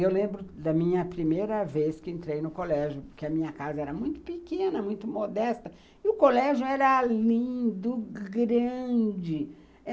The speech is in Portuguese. Eu lembro da minha primeira vez que entrei no colégio, porque a minha casa era muito pequena, muito modesta, e o colégio era lindo, grande.